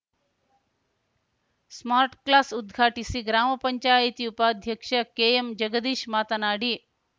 smart class ಉದ್ಘಾಟಿಸಿ ಗ್ರಾಮ ಪಂಚಾಯಿತಿ ಉಪಾಧ್ಯಕ್ಷ ಕೆಎಂ ಜಗದೀಶ್‌ ಮಾತನಾಡಿ